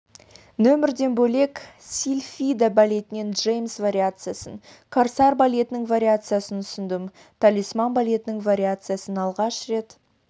нөмірден бөлек сильфида балетінен джеймс вариациясын корсар балетінің вариациясын ұсындым талисман балетінің вариациясын алғаш рет